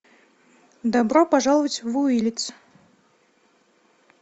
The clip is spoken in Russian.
добро пожаловать в уиллитс